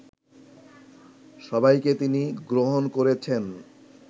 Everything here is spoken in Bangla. সবাইকে তিনি গ্রহণ করেছেন